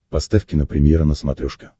поставь кинопремьера на смотрешке